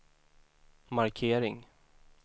markering